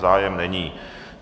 Zájem není.